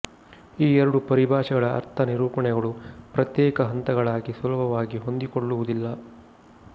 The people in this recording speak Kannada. ಈ ಎರಡು ಪರಿಭಾಷೆಗಳ ಅರ್ಥ ನಿರೂಪಣೆಗಳು ಪ್ರತ್ಯೇಕ ಹಂತಗಳಾಗಿ ಸುಲಭವಾಗಿ ಹೊಂದಿಕೊಳ್ಳುವುದಿಲ್ಲ